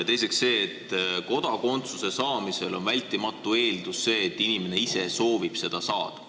Teiseks, kodakondsuse saamisel on vältimatu eeldus see, et inimene ise soovib seda saada.